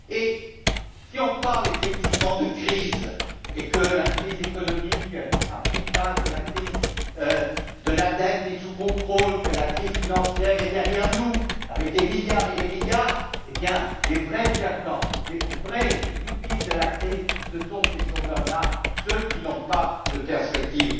Et si on parle effectivement de crise, si la crise économique a pris fin, si la crise de la dette est sous contrôle, si la crise financière est derrière nous, avec des milliards et des milliards, et bien les vrais perdants, les vraies victimes de la crise, ce sont ces chômeurs là, ceux qui n'ont pas de perspectives.